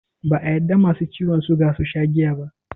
Ba a yadda Masu ciwan suga susha jiya ba